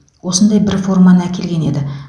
осындай бір форманы әкелген еді